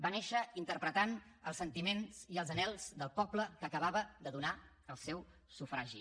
va néixer interpretant els sentiments i els anhels del poble que acabava de donar el seu sufragi